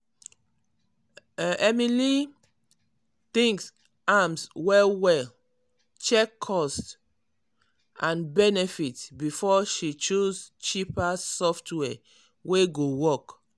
um emily um think am well well check cost um and benefit before she choose cheaper software wey go work.